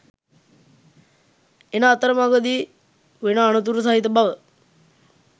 එන අතරමගදී වෙන අනතුරු සහිත බව